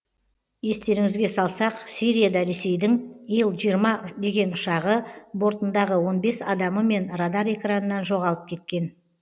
естеріңізге салсақ сирияда ресейдің ил жиырма деген ұшағы бортындағы он бес адамымен радар экранынан жоғалып кеткен